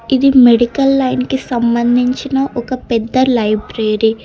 ఇది medical line కి సంబంధించిన ఒక పెద్ద లైబ్రరీ.